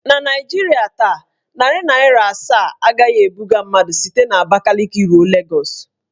Na Naijiria taa, narị naịra asaa agaghị ebuga mmadụ site n'Abakaliki ruo Legọs.